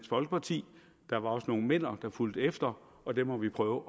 folkeparti der var også nogle men’er der fulgte efter og dem må vi prøve